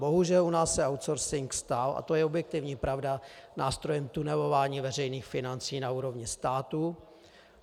Bohužel, u nás se outsourcing stal, a to je objektivní pravda, nástrojem tunelování veřejných financí na úrovni státu.